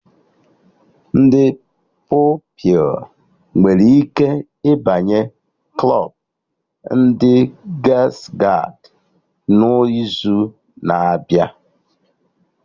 Ndị Pupilụ nwere ike ịbanye klọbụ ndị gials-gaịdị n'izu na-abịa